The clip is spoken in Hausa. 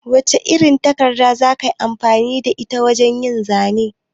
Wace irin takarda za ka yi amfani da ita wajen yin zanen?